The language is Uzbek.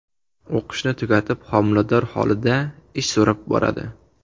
O‘qishni tugatib, homilador holida ish so‘rab boradi.